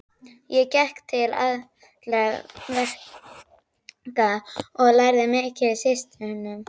Ég gekk til allra verka og lærði mikið af systrunum.